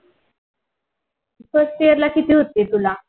first year ला किती होते तुला?